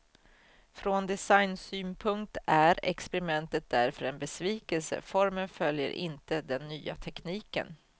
Från designsynpunkt är experimentet därför en besvikelse, formen följer inte den nya tekniken.